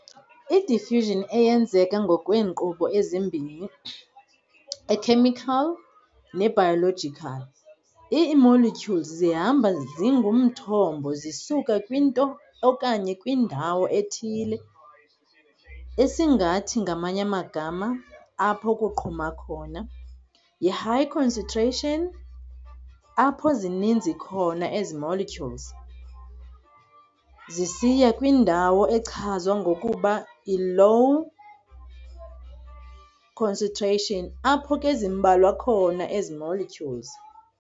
I-diffusion eyenzeka ngokweenkqubo ezimbini, e-chemical ne-biological, ii-molecules zihamba zingumthombo zisuka kwinto okanye kwindawo ethile, esingathi, ngamanye amagama apho kuqhuma khona, yi-high concentration, apho zininzi khona ezi- molecules, zisiya kwindawo echazwa ngokuba i-low concentration, apho ke zimbalwa khona ezi molecules.